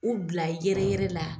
U bila yɛrɛ yɛrɛ la